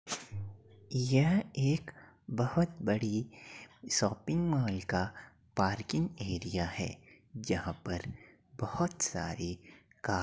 यह एक बहोत बड़ी शॉपिंग मॉल का पार्किंग एरिया है जहां पर बहोत सारी का --